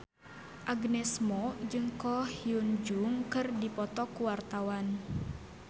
Agnes Mo jeung Ko Hyun Jung keur dipoto ku wartawan